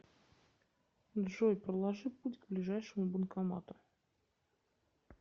джой проложи путь к ближайшему банкомату